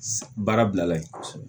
Baara bilala ye